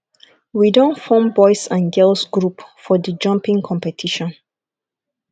we don form boys and girls group for di jumping competition